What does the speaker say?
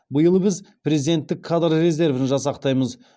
биыл біз президенттік кадр резервін жасақтаймыз